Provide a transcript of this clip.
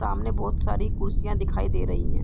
सामने बोहत सारी कुर्सियाँ दिखाई दे रहीं हैं।